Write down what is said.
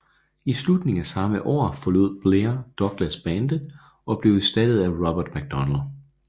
I slutningen af samme år forlod Blair Douglas bandet og blev erstattet af Robert MacDonald